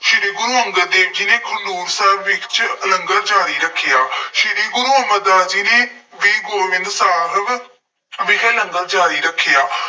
ਸ਼੍ਰੀ ਗੁਰੂ ਅੰਗਦ ਦੇਵ ਜੀ ਨੇ, ਖਡੂਰ ਸਾਹਿਬ ਵਿੱਚ ਲੰਗਰ ਜਾਰੀ ਰੱਖਿਆ। ਸ੍ਰੀ ਗੁਰੂ ਅਮਰਦਾਸ ਜੀ ਨੇ ਵੀ ਗੋਇੰਦ ਸਾਹਿਬ ਵਿਖੇ ਲੰਗਰ ਜਾਰੀ ਰੱਖਿਆ।